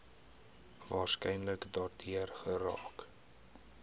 waarskynlik daardeur geraak